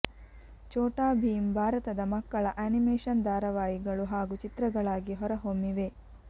ಚೋಟಾ ಭೀಮ್ ಭಾರತದ ಮಕ್ಕಳ ಆನಿಮೇಷನ್ ದಾರವಾಹಿಗಳು ಹಾಗು ಚಿತ್ರಗಳಾಗಿ ಹೊರಹೊಮ್ಮಿವೆ